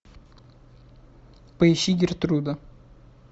поищи гертруда